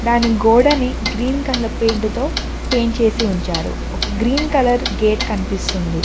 దాని గోడని green colour paint తో పెయింట్ చేసి ఉంచారు ఒక గ్రీన్ కలర్ గేట్ కనిపిస్తుంది.